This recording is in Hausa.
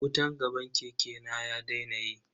Wutan gaban keke na ya daina yi.